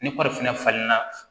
Ni kɔɔri fɛnɛ falenna